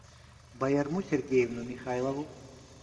баярму сергеевну михайлову